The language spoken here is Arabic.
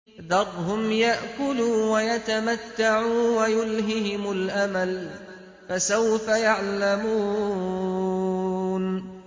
ذَرْهُمْ يَأْكُلُوا وَيَتَمَتَّعُوا وَيُلْهِهِمُ الْأَمَلُ ۖ فَسَوْفَ يَعْلَمُونَ